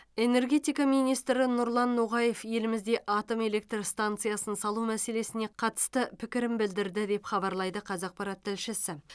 энергетика министрі нұрлан ноғаев елімізде атом электр станциясын салу мәселесіне қатысты пікірін білдірді деп хабарлайды қазақпарат тілшісі